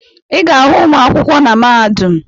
Ị ga-ahụ ụmụ akwụkwọ na mahadum